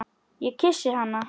Ég kyssi hana.